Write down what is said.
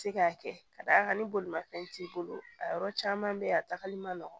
Se k'a kɛ ka d'a kan ni bolimafɛn t'i bolo a yɔrɔ caman bɛ yen a tagali man nɔgɔ